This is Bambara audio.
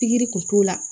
Pikiri kun t'o la